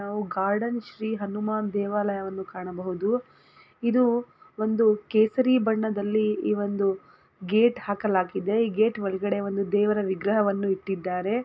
ನಾವು ಕಾಡಲ್ ಶ್ರೀ ಹನುಮಾನ್ ದೇವಾಲಯನ್ನು ಕಾಣಬಹುದು ಇದು ಒಂದು ಕೇಸರಿ ಬಣ್ಣದಲ್ಲಿ ಒಂದು ಗೇಟ ಹಾಕಲಾಗಿದೆ ಈ ಗೇಟ್ ಒಳಗಡೆ ಒಂದು ದೇವರ ವಿಗ್ರಹವನ್ನು ಇಟ್ಟಿದ್ದಾರೆ.